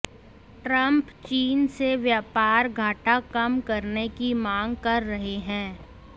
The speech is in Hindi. ट्रंप चीन से व्यापार घाटा कम करने की मांग कर रहे हैं